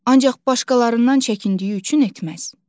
Ancaq başqalarından çəkindiyi üçün etməz.